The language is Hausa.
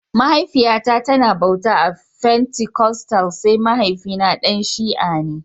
Mahaifiya na ta na bauta a fentikostal sai mahaifi na Dan shia ne